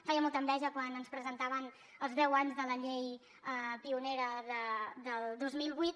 feia molta enveja quan ens presentaven els deu anys de la llei pionera del dos mil vuit